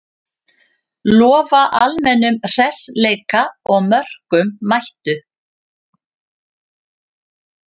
Lofa almennum hressleika og mörkum, mættu!